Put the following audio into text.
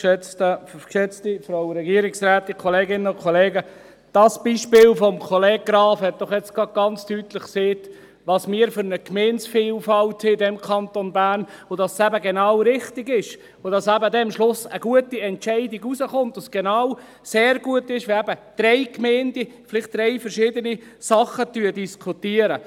Dieses Beispiel von Kollege Graf hat doch jetzt gerade ganz deutlich gezeigt, welche Gemeindevielfalt wir in diesem Kanton Bern haben, dass es eben genau richtig ist, dass eben dann am Schluss eine gute Entscheidung herauskommt, und es sehr gut ist, wenn eben genau drei Gemeinden vielleicht drei verschiedene Dinge diskutieren.